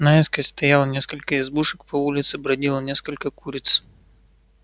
наискось стояло несколько избушек по улице бродило несколько куриц